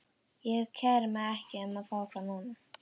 Ég kæri mig ekki um að fá þá núna.